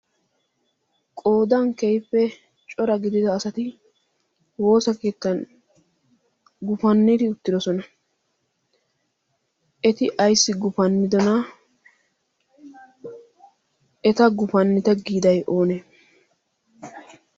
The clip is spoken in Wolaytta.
qodan keehippe cora gidida asati woosa keettan gufannidi uttidosona eti ayssi gufannidona eta gufannita giiday oonee